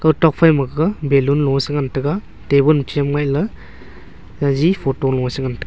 ko tok phai ma gaga balloon lo a che ngan tai ga tabun chem lai a gagi photo se ngan taiga.